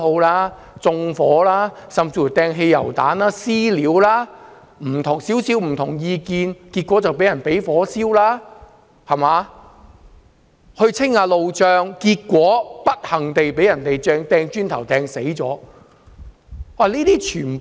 他們縱火、擲汽油彈、"私了"，有人持稍為不同的政見便被火燒，有人在清理路障時不幸被磚頭擊中致死。